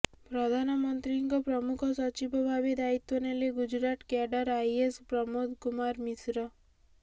ପ୍ରଧାନମନ୍ତ୍ରୀଙ୍କ ପ୍ରମୁଖ ସଚିବ ଭାବେ ଦାୟିତ୍ୱ ନେଲେ ଗୁଜରାଟ କ୍ୟାଡର ଆଇଏଏସ୍ ପ୍ରମୋଦ କୁମାର ମିଶ୍ର